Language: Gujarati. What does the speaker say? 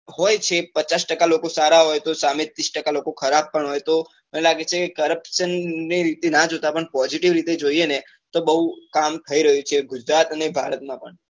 હોય છે પચાસ ટકા લોકો સારા હોય તો સામે ત્રીસ ટકા લોકો ખરાબ પણ હોય તો અમને લાગે છે તો corruption નાં રીતે નાં જોતા પણ posivite રીતે જોઈએ ને તો બઉ કામ થઇ રહ્યું છે ગુજરાત અને ભારત માં પણ